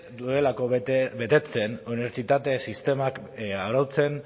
duelako betetzen unibertsitate sistemak arautzen